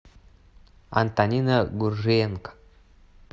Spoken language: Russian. антонина гуржиенко